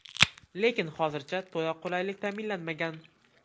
Lekin hozircha to‘la qulaylik ta’minlanmagan.